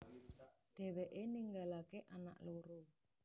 Dheweke ninggalake anak loro